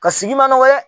Ka sigi manɔgɔ ye